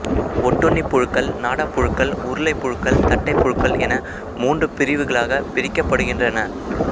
ஒட்டுண்ணிப் புழுக்கள் நாடாப் புழுக்கள் உருளைப் புழுக்கள் தட்டைப் புழுக்கள் என மூன்று பிரிவுகளாகப் பிரிக்கப்படுகின்றன